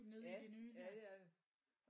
Ja ja det er det